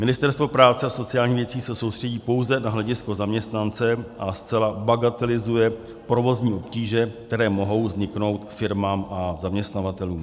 Ministerstvo práce a sociálních věcí se soustředí pouze na hledisko zaměstnance a zcela bagatelizuje provozní obtíže, které mohou vzniknout firmám a zaměstnavatelům.